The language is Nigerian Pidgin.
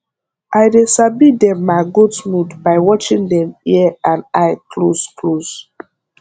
i dey sabi dem ma goat mood by watching dem ear and eye close close